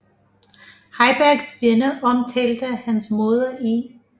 Heibergs venner omtalte hans moder i